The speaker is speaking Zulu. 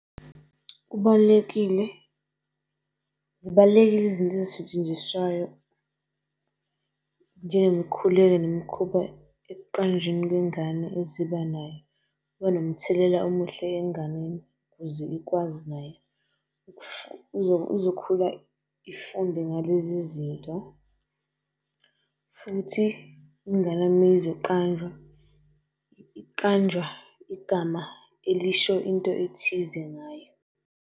Kubalulekile, zibalulekile izinto ezisetshenziswayo njengemikhuleko nemikhuba ekuqanjweni kwengane eziba nayo. Kuba nomthelela omuhle enganeni ukuze ikwazi nayo izokhula ifunde ngalezi zinto. Futhi ingane meyizoqanjwa iqanjwa igama elisho into ethize ngayo.